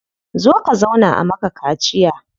Zo ka zauna a maka kaciya.